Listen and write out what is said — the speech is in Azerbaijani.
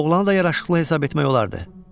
Oğlanı da yaraşıqlı hesab etmək olardı.